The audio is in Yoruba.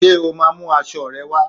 Ṣé o máa mú aṣọ rẹ wá?